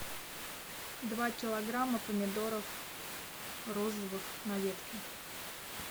два килограмма помидоров розовых на ветке